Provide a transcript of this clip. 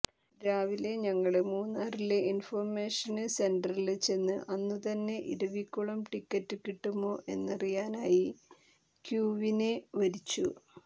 രാവിലെ ഞങ്ങള് മൂന്നാറിലെ ഇന്ഫോര്മേഷന് സെന്ററില് ചെന്ന്് അന്നു തന്നെ ഇരവികുളം ടിക്കറ്റ് കിട്ടുമോ എന്നറിയാനായി ക്യൂവിനെ വരിച്ചു